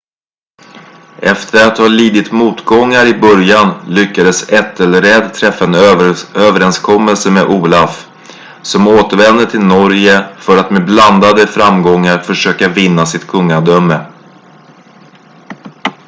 efter att ha lidit motgångar i början lyckades ethelred träffa en överenskommelse med olaf som återvände till norge för att med blandade framgångar försöka vinna sitt kungadöme